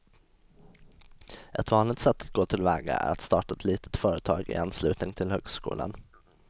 Ett vanligt sätt att gå till väga är att starta ett litet företag i anslutning till högskolan.